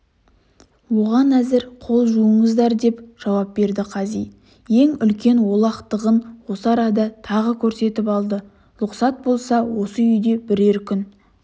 оған әзір қол жуыңыздар деп жауап берді қази ең үлкен олақтығын осы арада тағы көрсетіп алды лұқсат болса осы үйде бірер күн